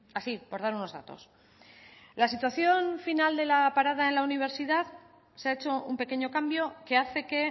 así por dar unos datos la situación final de la parada en la universidad se ha hecho un pequeño cambio que hace que